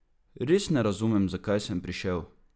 Res ne razume, zakaj sem prišel?